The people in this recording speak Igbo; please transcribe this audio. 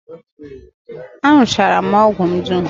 Aṅụchara m ọgwụ m dum